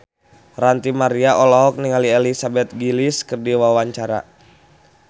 Ranty Maria olohok ningali Elizabeth Gillies keur diwawancara